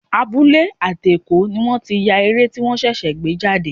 Abúlé àti Èkó ni wọ́n ti ya eré tí wọ́n ṣẹ̀ṣẹ̀ gbé jáde.